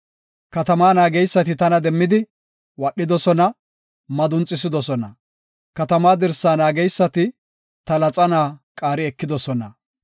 Katamaa naageysati tana demmidi, wadhidosona; madunxisidosona. Katamaa dirsaa naageysati, ta laxana qaari ekidosona.